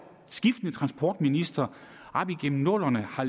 skiftende transportministre op igennem nullerne har